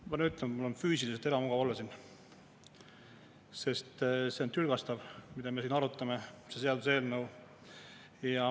Ma pean ütlema, et mul on füüsiliselt ebamugav siin olla, sest see on tülgastav, mida me siin arutame, see seaduseelnõu.